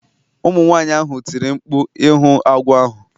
Ụmụ nwanyị ahụ tiri mkpu ịhụ agwọ ahụ